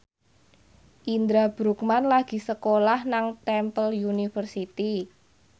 Indra Bruggman lagi sekolah nang Temple University